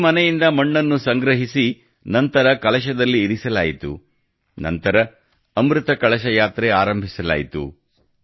ಪ್ರತಿ ಮನೆಯಿಂದ ಮಣ್ಣನ್ನು ಸಂಗ್ರಹಿಸಿ ನಂತರ ಕಲಶದಲ್ಲಿ ಇರಿಸಲಾಯಿತು ನಂತರ ಅಮೃತ ಕಲಶ ಯಾತ್ರೆ ಆರಂಭಿಸಲಾಯಿತು